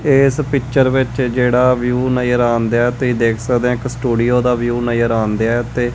ਇਸ ਪਿੱਕਚਰ ਵਿੱਚ ਜਿਹੜਾ ਵਿਊ ਨਜ਼ਰ ਆਉਣ ਦਿਆ ਤੇ ਦੇਖ ਸਕਦੇ ਹੋ ਇੱਕ ਸਟੂਡੀਓ ਦਾ ਵਿਊ ਨਜ਼ਰ ਆਉਣ ਦਿਆ ਤੇ --